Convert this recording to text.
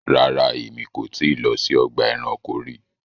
Ràrá, ẹ̀mi kò ti lọ sí ọgba ẹ̀ránkò rí